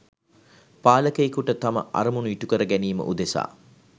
පාලකයෙකුට තම අරමුණු ඉටුකර ගැනීම උදෙසා